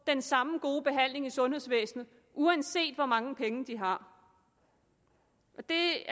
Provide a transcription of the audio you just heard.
den samme og gode behandling i sundhedsvæsenet uanset hvor mange penge de har det